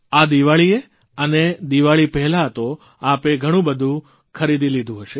આ દીવાળીએ પણ દીવાળી પહેલાં તો આપે ઘણુંબધું ખરીદી લીધું હશે